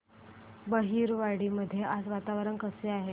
बहिरवाडी मध्ये आज वातावरण कसे आहे